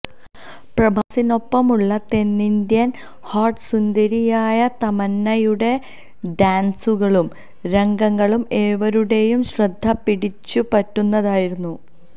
പ്രഭാസിനൊപ്പമുള്ള തെന്നിന്ത്യൻ ഹോട്ട് സുന്ദരിയായ തമന്നയുടെ ഡാൻസുകളും രംഗങ്ങളും ഏവരുടെയും ശ്രദ്ധ പിടിച്ചുപറ്റുന്നതായിരുന്നു